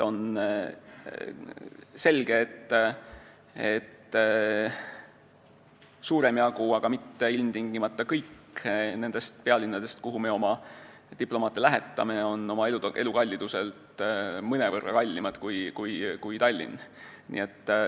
On selge, et suurem jagu – kuigi ilmtingimata mitte kõik – nendest pealinnadest, kuhu me oma diplomaate lähetame, on oma elukalliduselt mõnevõrra kallimad kui Tallinn.